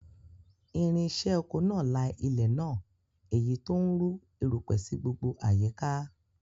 Irinṣẹ́ oko náà la ilẹ̀ náà, èyí tó ń rú erùpẹ̀ sí gbogbo àyíká